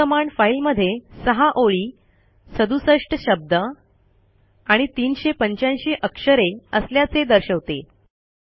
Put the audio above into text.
ही command फाईलमध्ये सहा ओळी सदुसष्ट शब्द आणि ३८५ अक्षरे असल्याचे दर्शवते